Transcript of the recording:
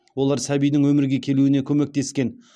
олар сәбидің өмірге келуіне көмектескен